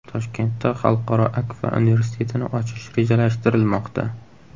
Toshkentda Xalqaro Akfa universitetini ochish rejalashtirilmoqda.